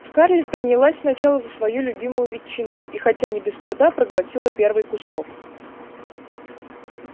скарлетт принялась сначала за свою любимую ветчину и хотя и не без труда проглотила первый кусок